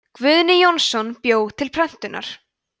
guðni jónsson bjó til prentunar